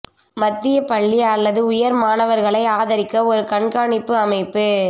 மத்திய பள்ளி அல்லது உயர் மாணவர்களை ஆதரிக்க ஒரு கண்காணிப்பு அமைப்பு